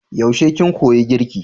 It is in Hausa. Yaushe kin koya girki?